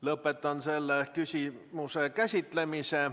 Lõpetan selle küsimuse käsitlemise.